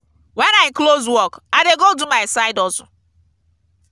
wen i close work i dey go do my side hustle.